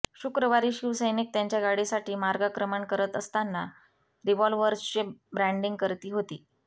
शुक्रवारी शिवसैनिक त्यांच्या गाडीसाठी मार्गक्रमण करत असताना रिव्हॉल्वर्सचे ब्रँडिंग करती होते